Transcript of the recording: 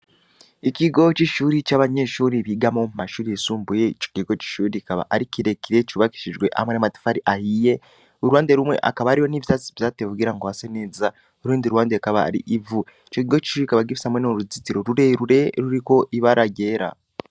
Ikigo c'ishure comumashure yisumbuye ico kigo c'ishure kikaba Ari kirekire cubakishijwe hamwe namatafari ahiye uruhande rumwe hakaba hari ivyatsi vyatewe kugira ngo hase neza urundi ruhande hakaba hari ivu icokigo c'ishure kikaba Gifise nuruzitiro rurerure ruriko ibara ryera .